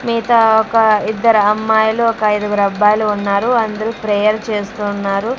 మిగతా ఒక ఇద్దరు అమ్మాయిలు ఒక ఐదుగురు అబ్బాయిలు ఉన్నారు అందరు ప్రేయర్ చేస్తున్నారు.